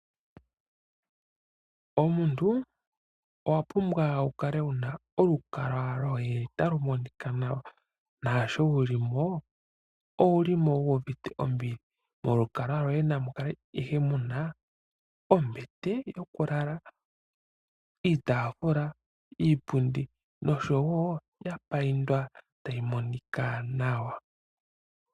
Omuntu owa pumbwa okukala wu na olukalwa lwoye talu monika nawa naasho wu li mo owu limo wuuvite ombili. Molukalwa lwoye namu kale ihe mu na ombete yokulala, iitafula, iipundi noshowo ya payindwa tayi monika nawa.